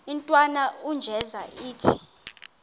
intwana unjeza ithi